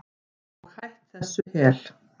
Og hætt þessu hel